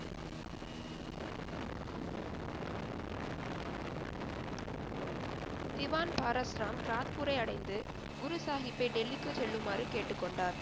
திவான் பராஸ் ராம் காத்பூரை அடைந்து குரு சாகிப்பை டெல்லிக்கு செல்லுமாறு கேட்டு கொண்டார்